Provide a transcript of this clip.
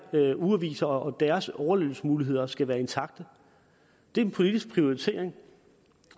ugeaviser og at deres overlevelsesmuligheder skal være intakte det er en politisk prioritering